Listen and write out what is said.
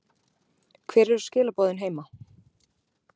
Hver eru skilaboðin heima?